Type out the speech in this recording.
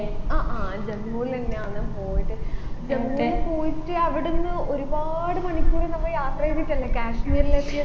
ആ ആ ജമ്മുലെന്നെയാന്ന് പോയത് ജമ്മൂല് പോയിട്ട് അവിടുന്ന് ഒരുപാട് മണിക്കൂർ നമ്മ യാത്ര ചെയ്തിട്ടല്ലേ കശ്മീരിൽ എത്തിയത്